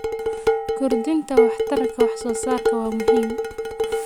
Kordhinta waxtarka wax-soo-saarka waa muhiim.